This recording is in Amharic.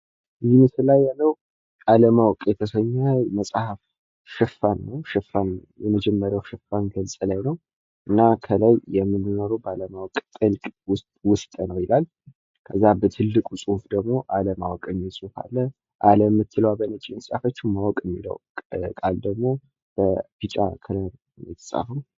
ይህ ምስሉ ላይ ያለው አለማወቅ የተሰኘ የመጽሐፍ ሽፋን ሲሆን፤ ከላይ " የምንኖረው ባለማወቅ ጥልቅ ውስጥ ነው " የሚል ጽሑፍ አለው ። ከዛ አለማወቅ የሚል በትልቁ የተጻፈ ጽሑፍ አለ። " አለ" የሚለው በነጭ ቀለም የተጻፈ ሲሆን " ማወቅ" የሚለው ደግሞ በቢጫ ቀለም ተጽፎ ይታያል ።